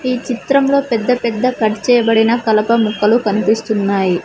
ఈ చిత్రంలో పెద్ద పెద్ద కట్ చేయబడిన కలప ముక్కలు కనిపిస్తున్నాయి.